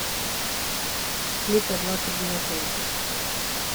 клипы двадцать девятнадцать